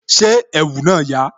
Ṣé ẹ̀wù náà yà?